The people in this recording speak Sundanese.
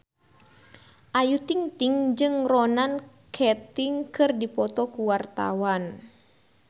Ayu Ting-ting jeung Ronan Keating keur dipoto ku wartawan